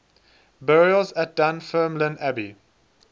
burials at dunfermline abbey